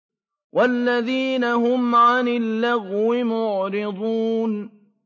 وَالَّذِينَ هُمْ عَنِ اللَّغْوِ مُعْرِضُونَ